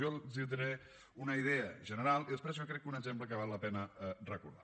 jo els diré una idea general i després jo ho crec un exemple que jo crec que val la pena recordar